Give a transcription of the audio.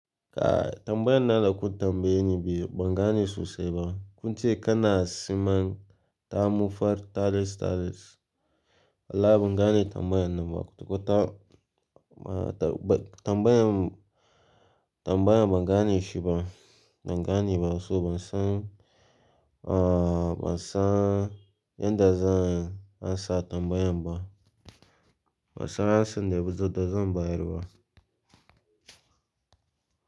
Tambayan nan da kun tambaye ni ban gane sosai ba. Kun ce kana siman ta mufar tares tares. Wallahi bangane tambayan nan ba. Ko ta tambayan, tambayan ban gane shi ba. Ban gane ba. So ban san, ban san, yan da zan ansa tambayan ba. Ban san ya sunne ba. Da za mu bayarwa.